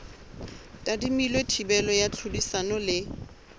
tadimilwe thibelo ya tlhodisano le